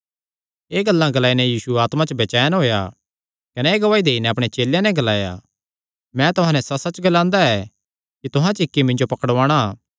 एह़ गल्लां ग्लाई नैं यीशु आत्मा च बचैन होएया कने एह़ गवाही देई नैं अपणे चेलेयां नैं ग्लाया मैं तुहां नैं सच्चसच्च ग्लांदा ऐ कि तुहां च इक्की मिन्जो पकड़ुआंणा